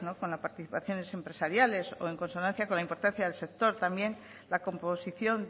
con las participaciones empresariales o en consonancia con la importancia del sector también la composición